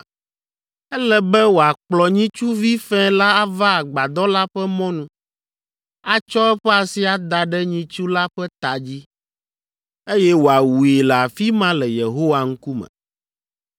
Ele be wòakplɔ nyitsuvi fɛ̃ la ava Agbadɔ la ƒe mɔnu, atsɔ eƒe asi ada ɖe nyitsu la ƒe ta dzi, eye wòawui le afi ma le Yehowa ŋkume.